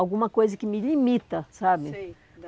Alguma coisa que me limita, sabe? Sei